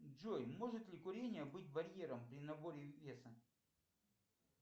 джой может ли курение быть барьером при наборе веса